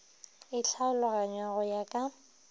e tlhaloganngwa go ya ka